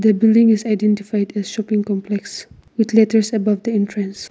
the building is identified a shopping complex with letters about the entrance.